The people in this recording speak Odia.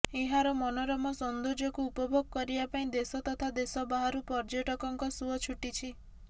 ଏହାର ମନୋରମ ସୌନ୍ଦର୍ଯ୍ୟକୁ ଉପଭୋଗ କରିବା ପାଇଁ ଦେଶ ତଥା ଦେଶ ବାହାରୁ ପର୍ଯ୍ୟଟକଙ୍କ ସୁଅ ଛୁଟିଛି